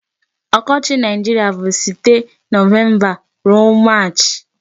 Ọkọchị Nigeria bụ site November ruo March.